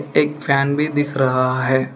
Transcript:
एक फैन भी दिख रहा है।